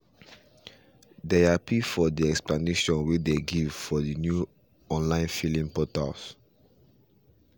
they happy for the explanation way they give for the new online filling portal